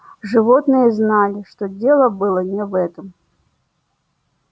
животные знали что дело было не в этом